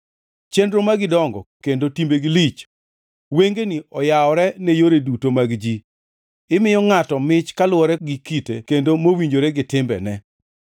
chenro magi dongo kendo timbegi lich. Wengeni oyawore ne yore duto mag ji; imiyo ngʼato mich kaluwore gi kite, kendo mowinjore gi timbene.